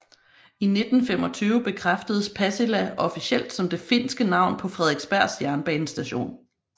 I 1925 bekræftedes Pasila officielt som det finske navn på Fredriksbergs jernbanestation